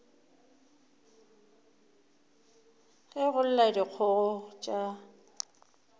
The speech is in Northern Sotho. ge go lla dikgogo tša